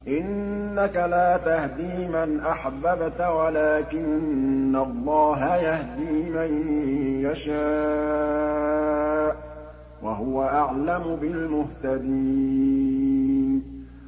إِنَّكَ لَا تَهْدِي مَنْ أَحْبَبْتَ وَلَٰكِنَّ اللَّهَ يَهْدِي مَن يَشَاءُ ۚ وَهُوَ أَعْلَمُ بِالْمُهْتَدِينَ